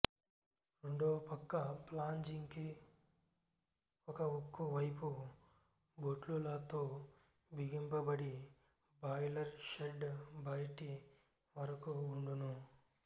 రెండవ పక్క ఫ్లాంజికి ఒక ఉక్కు పైపు బోట్లులతో బిగింపబడి బాయిలరు షెడ్ బయటి వరకువుండును